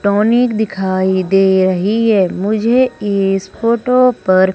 tonic दिखाई दे रही है मुझे इस फोटो पर--